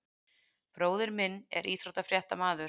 Bróðir minn er íþróttafréttamaður.